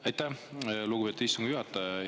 Aitäh, lugupeetud istungi juhataja!